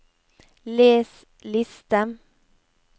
les liste